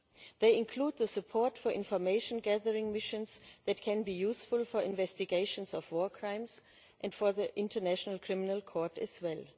They include the support for information gathering missions that can be useful for investigations of war crimes and for the International Criminal Court as well.